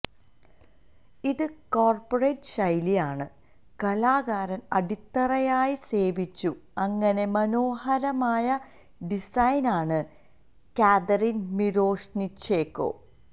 ഇത് കോർപ്പറേറ്റ് ശൈലി ആണി കലാകാരൻ അടിത്തറയായി സേവിച്ചു അങ്ങനെ മനോഹരമായ ഡിസൈൻ ആണ് കാതറിൻ മിരൊശ്നിഛെന്കൊ